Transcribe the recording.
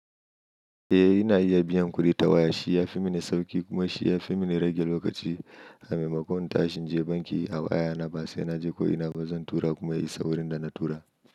Eh ina iya biyan kuɗi ta waya, shi ya fi mini sauƙi kuma shi ya fi mini rage lokaci sabi ma ko in tashe inje banki a waya na ba sai naje ko ina ba zan tura kuma ya yi saurin da na tura.